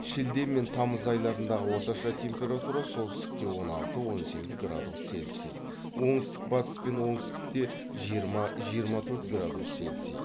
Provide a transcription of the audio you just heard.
шілде мен тамыз айларындағы орташа температура солтүстікте он алты он сегіз градус цельсий оңтүстік батыс пен оңтүстікте жиырма жиырма төрт градус цельсий